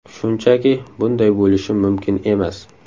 Shunchaki bunday bo‘lishi mumkin emas.